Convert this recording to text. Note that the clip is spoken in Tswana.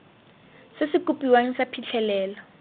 se se kopiwang sa phitlhelelo